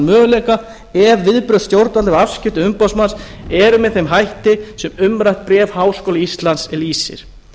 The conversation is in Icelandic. möguleika ef viðbrögð stjórnvalda við afskiptum umboðsmanns eru með þeim hætti sem umrætt bréf háskóla íslands lýsir